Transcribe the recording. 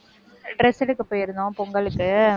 dress எடுக்க போயிருந்தோம், பொங்கலுக்கு